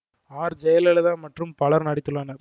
R Jayalalithaa மற்றும் பலரும் நடித்துள்ளனர்